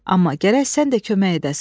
Amma gərək sən də kömək edəsən.